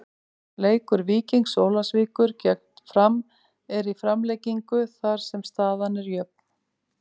Leikur Víkings Ólafsvíkur gegn Fram er í framlengingu þar sem staðan er jöfn.